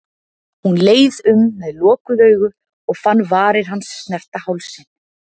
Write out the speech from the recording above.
Hún leið um með lokuð augu og fann varir hans snerta hálsinn.